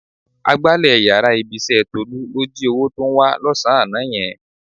Agbálẹ̀ yàrá ibi-iṣẹ́ Tólú ló jí owó tó ń wá lọ́sàn-án àná yẹn.